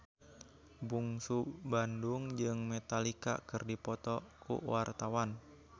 Bungsu Bandung jeung Metallica keur dipoto ku wartawan